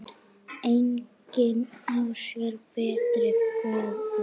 Engin á sér betri föður.